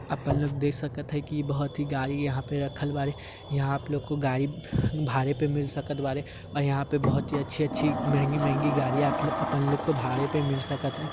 अपन लोग देख सकत है की बोहोत ही गाड़ी यहाँ पे रखल बारी यहाँं आप लोग को गाड़ी भाड़े पे मिल सकत वारे और यहाँ पे बोहोत ही अच्छी-अच्छी महंगी-महंगी गाड़ी आप अपन लोग को भाड़े पर मिल सकत है।